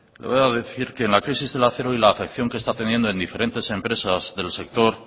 voy a decir que en la crisis del acero y la afección que está teniendo en diferentes empresas del sector